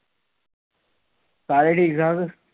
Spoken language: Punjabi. ਸਾਰੇ ਠੀਕ ਆ